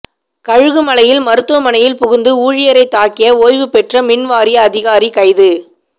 கழுகுமலையில் மருத்துவமனையில் புகுந்து ஊழியரை தாக்கிய ஓய்வுபெற்ற மின்வாரிய அதிகாரி கைது